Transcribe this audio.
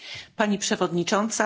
Pani Przewodnicząca!